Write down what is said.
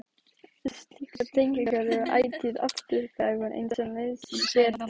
Slíkar tengingar eru ætíð afturkræfar eins og nauðsyn ber til.